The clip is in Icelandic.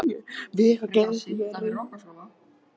Hún var með ljótt ör þvert yfir hálsinn.